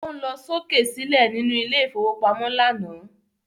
O ń lọ sókè sílẹ̀ nínú ilé ìfowópamọ́ lánàá